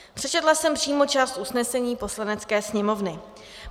Přečetla jsem přímo část usnesení Poslanecké sněmovny.